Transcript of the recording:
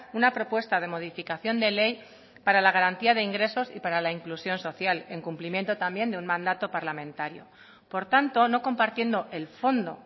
una propuesta de modificación de ley para la garantía de ingresos y para la inclusión social en cumplimiento también de un mandato parlamentario por tanto no compartiendo el fondo